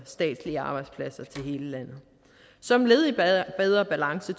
statslige arbejdspladser til hele landet som led i bedre balance